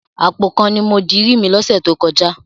Àpò kan ni mo dirí mi lọ́sẹ̀ tó kọjá.